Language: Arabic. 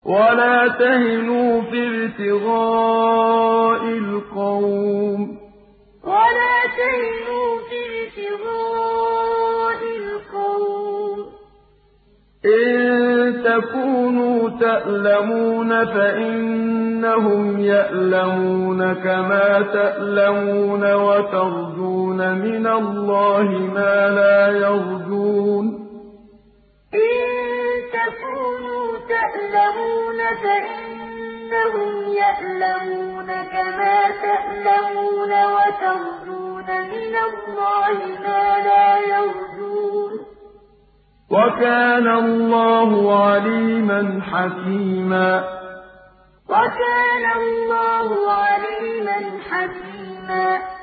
وَلَا تَهِنُوا فِي ابْتِغَاءِ الْقَوْمِ ۖ إِن تَكُونُوا تَأْلَمُونَ فَإِنَّهُمْ يَأْلَمُونَ كَمَا تَأْلَمُونَ ۖ وَتَرْجُونَ مِنَ اللَّهِ مَا لَا يَرْجُونَ ۗ وَكَانَ اللَّهُ عَلِيمًا حَكِيمًا وَلَا تَهِنُوا فِي ابْتِغَاءِ الْقَوْمِ ۖ إِن تَكُونُوا تَأْلَمُونَ فَإِنَّهُمْ يَأْلَمُونَ كَمَا تَأْلَمُونَ ۖ وَتَرْجُونَ مِنَ اللَّهِ مَا لَا يَرْجُونَ ۗ وَكَانَ اللَّهُ عَلِيمًا حَكِيمًا